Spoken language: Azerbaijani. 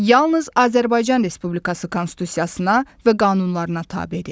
Yalnız Azərbaycan Respublikası Konstitusiyasına və qanunlarına tabedir.